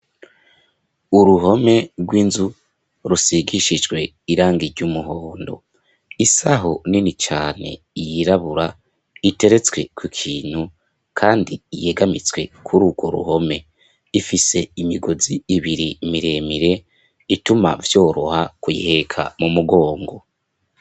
Uruhome rw'inzu rusigishijwe irangi ry'umuhondo isaho nini cane yirabura iteretswe ku kintu kandi yegamitswe kurugo ruhome ifise imigozi ibiri miremire ituma vyoroha kuyiheka mu mugongo.